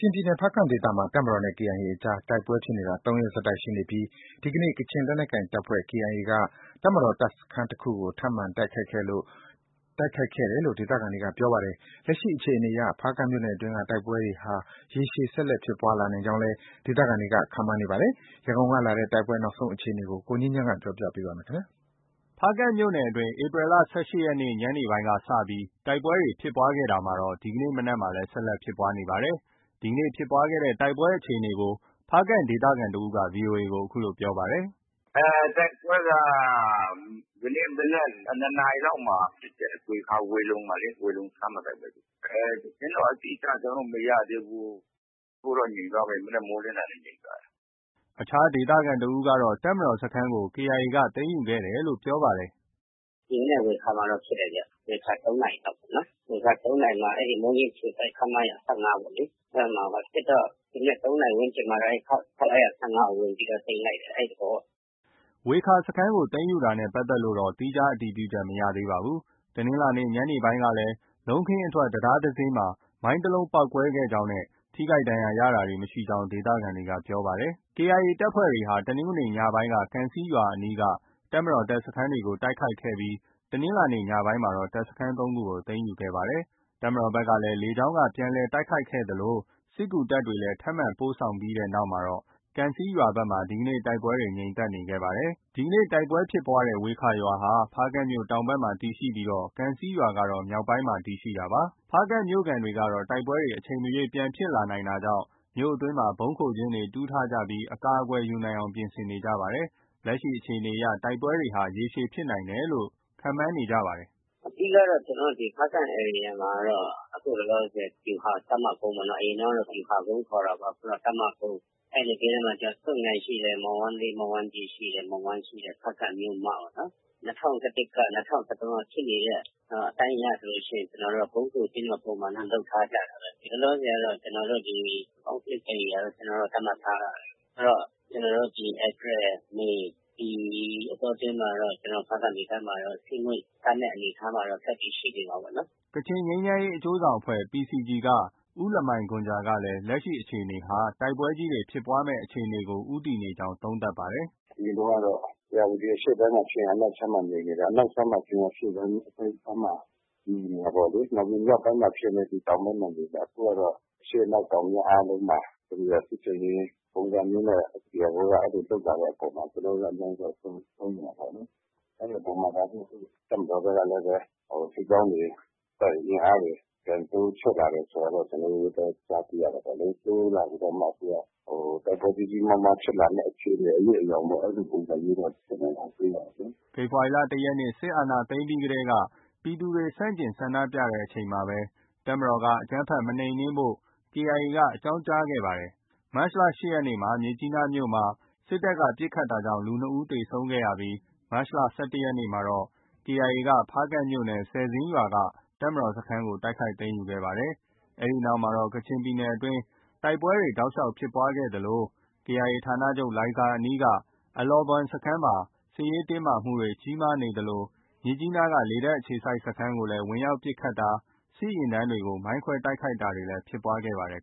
ျင်ပြည်နယ် ဖားကန့်ဒေသမှာ တပ်မတော်နဲ့ KIA အကြား တိုက်ပွဲဖြစ်နေတာ ၃ ရက်ဆက်တိုက် ရှိနေပြီး ဒီကနေ့ ကချင်လက်နက်ကိုင်တပ်ဖွဲ့ KIA က တပ်မတော် တပ်စခန်းတစ်ခုကို ထပ်မံတိုက်ခိုက်ခဲ့တယ်လို့ ဒေသခံတွေက ပြောပါတယ်။ လက်ရှိ အခြေအနေအရ ဖားကန့်မြို့နယ်အတွင်းက တိုက်ပွဲတွေဟာ ရေရှည် ဆက်လက်ဖြစ်ပွားလာနိုင်ကြောင်းလည်း ဒေသခံတွေ ခန့်မှန်းနေပါတယ်။ ရန်ကုန်ကလာတဲ့ တိုက်ပွဲ နောက်ဆုံး အခြေအနေကို ကိုငြိမ်းချမ်းပြောပြပါမယ်။ ဖားကန့်မြို့နယ်အတွင်းမှာ ဧပြီလ ၁၈ ရက် တနင်္ဂနွေနေ့ ညနေပိုင်းက စတင်ပြီး တိုက်ပွဲတွေ ဖြစ်ပွားခဲ့တာ ဒီကနေ့ မနက်မှာလည်း ဆက်လက် ဖြစ်ပွားနေတာပါ။ ဒီကနေ့ ဖြစ်ပွားတဲ့ တိုက်ပွဲအခြေအနေကို ဖားကန့် ဒေသခံတစ်ဦးက ဗွီအိုအေကို အခုလို ပြောပါတယ်။ “တိုက်ပွဲက ဒီကနေ့ မနက် ၂ နာရီလောက်မှာ ဖြစ်တယ်။ ဝေခါ၊ ဝေလုံမှာလေ၊ ဝေလုံစခန်းမှာ တိုက်ပွဲဖြစ်တယ်။ သတင်းတော့ အတိအကျ ကျနော်တို့ မရသေးဘူး။ အခုတော့ ငြိမ်သွားပြီ၊ မနက်မိုးလင်းတာနဲ့ ငြိမ်သွားပြီ။” အခြားဒေသခံတစ်ဦးကတော့ တပ်မတော်စခန်းကို KIA က သိမ်းယူခဲ့တယ်လို့ ပြောပါတယ်။ “ ဒီမနက် ဝေခါမှာတော့ ဖြစ်တယ်ဗျ။ ဝေခါ ၃နာရီမှာ မိုးညှင်းအခြေစိုက် ခမရ ၁၅ ပေါ့လေ။ အဲဒီမှာဖြစ်တော့ ဒီမနက် ၃ နာရီ ဝန်းကျင်မှာတော့ ခမရ ၁၅ ကို ဝင်ပြီးတော့ သိမ်းလိုက်တယ်။ အဲဒီသဘောပေါ့။” ဝေခါ စခန်းကို သိမ်းယူတာနဲ့ ပတ်သက်လို့တော့ သီးခြားအတည်ပြုချက် မရသေးပါဘူး။ တနင်္လာနေ့ ညနေပိုင်းကလည်း လုံးခင်းအထွက် တံတားမှာ မိုင်းတစ်လုံးပေါက်ကွဲခဲ့ကြောင်းနဲ့ ထိခိုက်ဒဏ်ရာရတာ မရှိကြောင်းလည်း ဒေသခံတွေက ပြောပါတယ်။ KIA တပ်ဖွဲ့တွေဟာ တနင်္ဂနွေနေ့ ညနေပိုင်းက ကံဆီးရွာအနီးက တပ်မတော် တပ်စခန်းတွေကို တိုက်ခိုက်ခဲ့ပြီး တနင်္လာနေ့ ညနေပိုင်းမှာ တပ်စခန်း ၃ ခုကို သိမ်းယူခဲ့ပါတယ်။ တပ်မတော်ဘက်က လေကြောင်းက ပြန်လည် တိုက်ခိုက်ခဲ့သလို စစ်ကူတပ်တွေလည်း ထပ်မံပို့ဆောင်ခဲ့တဲ့နောက် ကံဆီးရွာဘက်မှာ ဒီနေ့တိုက်ပွဲတွေ ငြိမ်သက်ခဲ့နေပါတယ်။ ဒီကနေ့ တိုက်ပွဲဖြစ်ပွားတဲ့ ဝေခါရွာဟာ ဖားကန့်မြို့တောင်ဘက်မှာ တည်ရှိပြီး ကံဆီးရွာကတော့ မြောက်ဘက်ပိုင်းမှာ တည်ရှိတာပါ။ ဖားကန့်မြို့ခံတွေကတော့ တိုက်ပွဲတွေ အချိန်မရွေးပြန်ဖြစ်လာနိုင်တာကြောင့် မြို့အတွင်းမှာ ဗုံးခိုကျင်းတွေ တူးထားကြပြီး အကာအကွယ်ယူနိုင်အောင် ပြင်ဆင်နေကြပါတယ်။ လက်ရှိအခြေအနေအရ တိုက်ပွဲတွေဟာ ရေရှည်ဖြစ်နိုင်တယ်လို့ သူတို့က ခန့်မှန်းနေကြပါတယ်။ “အဓိကကတော့ ကျနော်တို့ ဖားကန့်ဒေသမှာတော့ အခုလောလောဆယ် ဗျူဟာ တပ်မကုန်းပေါ့နော်။ အရင်တုန်းကတော့ ဗျူဟာကုန်းခေါ်တာပေါ့။ အခု တပ်မကုန်း၊ အဲဒီနဘေးနားမှာတော့ ဆွတ်ငိုင်ယန်ရှိတယ်။ မော်ဝမ်းကြီး၊ မော်ဝမ်းလေး ရှိတယ်။ မော်ဝမ်းရှိတယ်။ ဖားကန့်မြို့မပေါ့နော်။ ၂၀၁၁က၊ ၂၀၁၃က ဖြစ်နေတဲ့ အတိုင်းအရဆိုရင် ကျနော်တို့က ဗုံးခိုကျင်းတော့ ပုံမှန်တော့ လုပ်ထားကြတာပဲ။ လောလောဆယ်ကတော့ ကျနော်တို့က Conflict ဧရိယာလို့ သတ်မှတ်ထားတာပဲ။ ဆိုတော့ ကျနော်တို့ ဧပြီ၊ မေ ဒီအတောအတွင်းမှာတော့ ဖားကန့်ဒေသမှာတော့ စစ်ငွေ့ သန်းတဲ့အနေအထားမှာတော့ ဆက်ပြီး ရှိနေမှာပေါ့နော်။” ကချင်ငြိမ်းချမ်းရေး အကျိုးဆောင်အဖွဲ့ PCG က ဦးလမိုင်ဂွမ်ဂျာကလည်း လက်ရှိ အခြေအနေဟာ တိုက်ပွဲကြီးတွေ ဖြစ်ပွားမယ့် အခြေအနေကို ဦးတည်နေကြောင်း သုံးသပ်ပါတယ်။ “အရင်တုန်းကတော့ ဧရာဝတီအရှေ့ခြမ်းမှာဖြစ်ရင် အနောက်ခြမ်းမှာ ငြိမ်နေတယ်။ အနောက်ခြမ်းမှာဖြစ်ရင် အရှေ့ခြမ်းမှာ ငြိမ်နေတယ်။ နောက်ပြီး မြောက်ပိုင်းမှာဖြစ်ရင်လည်း တောင်ပိုင်းမှာ ငြိမ်နေတယ်။ အခုကတော့ အရှေ့၊ အနောက်၊ တောင်၊ မြောက်အားလုံး မှာ စစ်ဆင်ရေးပုံစံမျိုးနဲ့ KIA က လုပ်လာတဲ့အပေါ်မှာ ကျနော်တို့လည်း အများကြီးတော့ စိုးရိမ်တာပေါ့လေ။ အဲဒီအပေါ်မှာ တပ်မတော်ဘက်ကလည်းပဲ စစ်ကြောင်းတွေ၊ အင်အားတွေ ပြန်တိုးချဲ့လာတယ်ဆိုတာတော့ ကျနော်တို့လည်း ကြားသိရတာပေါ့လေ။ တိုးလာပြီးတော့မှ သူက တိုက်ပွဲကြီးကြီးမားမားဖြစ်မယ့် အရိပ်အယောင်ပေါ့ အဲဒီလိုပုံစံမျိုးတော့ ကျနော်တို့ တွေ့ရတယ်လေ။” ဖေဖော်ဝါရီလ ၁ ရက်နေ့ စစ်တပ်က အာဏာသိမ်းတာကို ပြည်သူတွေ ဆန့်ကျင်ဆန္ဒပြတဲ့အချိန်မှာ တပ်မတော်က အကြမ်းဖက် မနှိမ်နင်းဖို့ KIA က အကြောင်းကြားခဲ့ပါတယ်။ မတ်လ ၈ ရက်နေ့ မြစ်ကြီးနားမြို့မှာ စစ်တပ်က ပစ်ခတ်တာကြောင့် လူ ၂ ယောက် သေဆုံးခဲ့ရပြီး မတ်လ ၁၁ ရက်နေ့မှာ KIA က ဖားကန့်မြို့နယ်၊ ဆယ်ဇင်းရွာက တပ်မတော်စခန်းတိုက်ခိုက်သိမ်းယူခဲ့ပါတယ်။ အဲဒီနောက်မှာတော့ ကချင်ပြည်နယ်အတွင်း တိုက်ပွဲတွေတောက်လျှောက် ဖြစ်ပွားခဲ့သလို KIA ဌာနချုပ် လိုင်ဇာအနီးက အလောဘွမ်စခန်းမှာ စစ်ရေးတင်းမာမှုတွေ ကြီးမားနေသလို မြစ်ကြီးနားက လေတပ်အခြေစိုက်စခန်းကိုလည်း ဝင်ရောက်ပစ်ခတ်တာ၊ စစ်ယာဉ်တန်းကို မိုင်းခွဲတိုက်ခိုက်တာတွေလည်း ဖြစ်ပွားခဲ့ပါတယ်